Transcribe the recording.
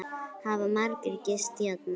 Hafa margir gist hérna?